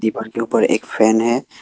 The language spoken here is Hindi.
उनके ऊपर एक फैन है।